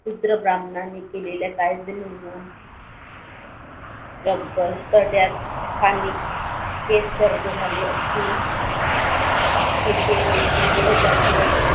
शूद्र ब्राम्हणांनी केलेल्या कायद्यांमुळं या बसस्थानकांनी केस कर्ज झाले असतील कि ते दिवसेंदिवस जास्त जास्त